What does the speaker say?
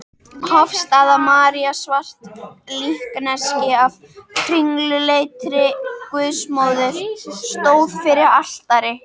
Hofsstaða-María, svart líkneski af kringluleitri Guðsmóður, stóð fyrir altari.